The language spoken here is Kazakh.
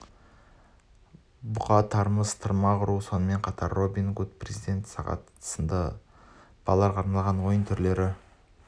бұқа тартыс тымақ ұру сонымен қатар робин гуд президент сағат сынды балаларға арналған ойын түрлері